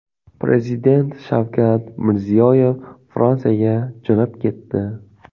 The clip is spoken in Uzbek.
Prezident Shavkat Mirziyoyev Fransiyaga jo‘nab ketdi.